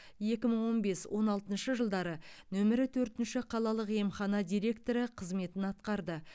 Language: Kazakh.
екі мың он бес он алтыншы жылдары нөмірі төртінші қалалық емхана директоры қызметін атқарды